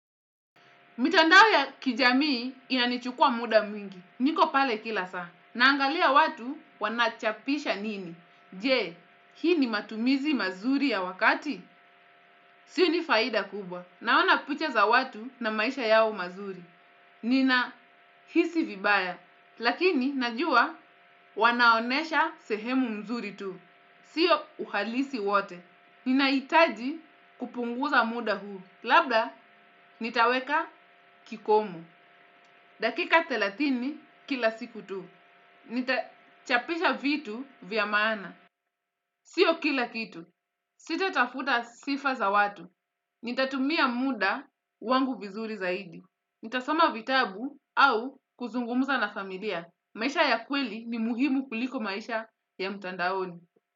Mitandao ya kijamii inanichukua muda mwingi. Niko pale kila saa. Naangalia watu wanachapisha nini. Je, hii ni matumizi mazuri ya wakati? Sioni faida kubwa. Naona picha za watu na maisha yao mazuri. Ninahisi vibaya. Lakini, najua, wanaonyesha sehemu mzuri tu. Sio uhalisi wote. Ninahitaji kupunguza muda huu. Labda, nitaweka kikomu. Dakika thelathini, kila siku tu. Nitachapisha vitu vya maana. Sio kila kitu. Sitatafuta sifa za watu. Nitatumia muda wangu vizuri zaidi. Nitasoma vitabu au, kuzungumza na familia. Maisha ya kweli ni muhimu kuliko maisha ya mtandaoni.